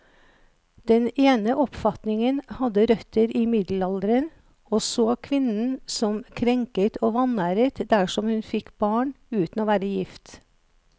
Den ene oppfatningen hadde røtter i middelalderen, og så kvinnen som krenket og vanæret dersom hun fikk barn uten å være gift.